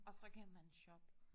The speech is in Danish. Og så kan man shoppe